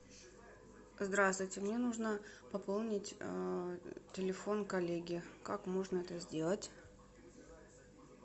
здравствуйте мне нужно пополнить телефон коллеги как можно это сделать